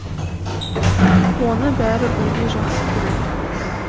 оны бәрі бірдей жақсы көреді